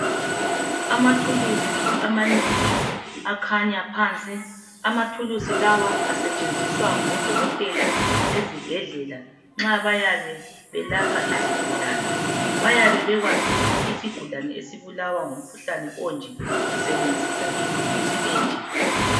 Amathulusi amanengi akhanya phansi, amathulusi lawa asetshenziswa ngodokotela ezibhedlela nxa bayabe belapha izigulane. Bayabe bekwazi ukuthi isigulane esibulawa ngumkhuhlane onje usebenzisa ithulusi enje.